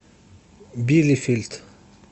билефельд